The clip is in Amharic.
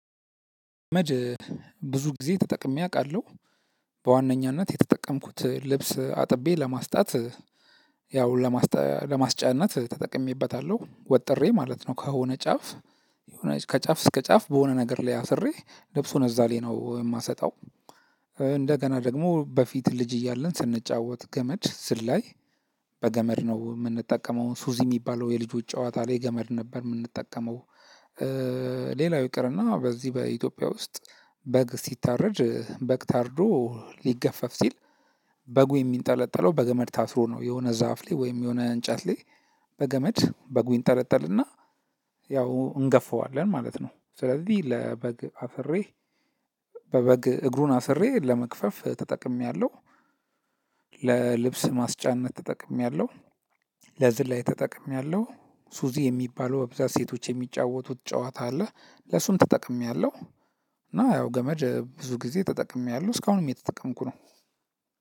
መጅ ብዙ ጊዜ ተጠቅሜ አውቃለሁ። በዋነኛነት የተጠቀምኩት ልብስ አጥቤ ለማስጣት ያው ለማስጠ ለማስጫነት ተጠቅሜበታለሁ። ወጥሬ ማለት ነው። ከሆነ ጫፍ ከጫፍ እስከ ጫፍ በሆነ ነገር ላይ አስሬ ልብሱን እዛ ላይ ነው የማሰጣው። እንደገና ደግሞ በፊት ልጅ እያለን ስንጫወት ገመድ ዝላይ በገመድ ነው የምንጠቀመው ሱዚ የሚባለው የልጆች ጨዋታ ላይ ገመድ ነበር የምንጠቀመው ሌላው ይቅርና በዚህ በኢትዮጵያ ውስጥ በግ ሲታረድ በግ ታርዶ ሊገፈፍ ሲል በጉ የሚንጠለጠለው በገመድ ታስሮ ነው። የሆነ ዛፍ ላይ ወይም የሆነ እንጨት ላይ በገመድ በጉ ይንጠለጠልና ያው እንገፋዋለን ማለት ነው። ስለዚህ ለበግ አስሬ በበግ እግሩን አስሬ ለመግፈፍ ተጠቅሜያለሁ። ለልብስ ማስጫነት ተጠቅሜያለሁ፣ ለዝላይ ተጠቅሜያለሁ፣ ሱዚ የሚባለው በብዛት ሴቶች የሚጫወቱት ጨዋታ አለ ለሱም ተጠቅሜያለሁ። እና ያው ገመድ ብዙ ጊዜ ተጠቅሜያለሁ እስካሁንም የተጠቀምኩ ነው።